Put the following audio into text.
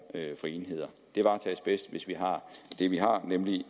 for enheder det varetages bedst hvis vi har det vi har nemlig